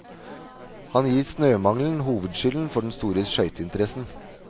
Han gir snømangelen hovedskylden for den store skøyteinteressen.